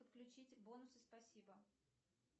подключить бонусы спасибо